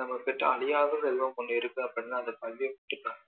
நம்ம கிட்ட அழியாத செல்லவம் ஒன்னு இருக்கு அப்படின்னா அது கல்வி மட்டும் தான்